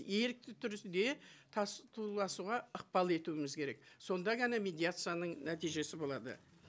ерікті түрде ықпал етуіміз керек сонда ғана медиацияның нәтижесі болады